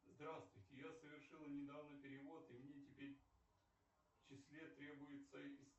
здравствуйте я совершила недавно перевод и мне теперь в числе требуется